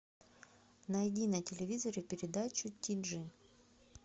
найди на телевизоре передачу тиджи